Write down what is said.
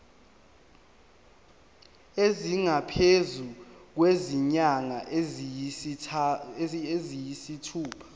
esingaphezu kwezinyanga eziyisithupha